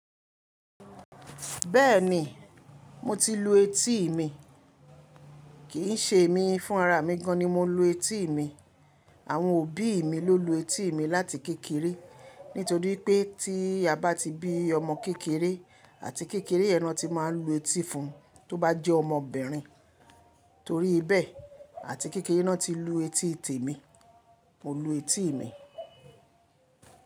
Bẹ́ẹ̀ ni, mo ti lu etí mi, kì í ṣe èmi fún ara mi gan ni mo lu etí mi. Àwọn òbí mi ló lu etí mi láti kékeré. Nítorí pé tí a bá ti bí ọmọ kékeré àti kékeré, yẹn ni wọ́n ti máa lu etí fún tó bá jẹ́ ọmọbìnrin. Torí bẹ́ẹ̀ àti kékeré ná ti lu etí tèmi, mo lu etí mi.